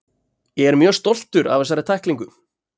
Ég er mjög stoltur af þessari tæklingu.